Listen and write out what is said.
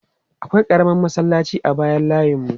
Akwai ƙaramar masallaci a bayan layinmu.